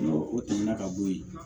N'o o tɛmɛna ka bo yen